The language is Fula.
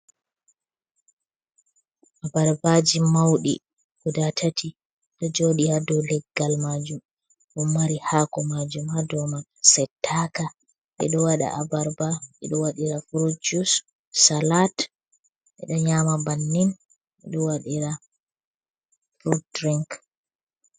Abarbaaji mawɗi guda tati ɗo jooɗi haa dow leggal maajum, boo mari haako mɗajum haa do ma settaaka. Ɓeɗo waɗa abarba, ɓe ɗo waɗira furut salat, be ɗo nyaama bannin, ɓeɗo waɗira fud dirink.